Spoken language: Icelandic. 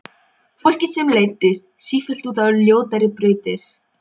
Mamma og pabbi horfa hvort á annað og glotta.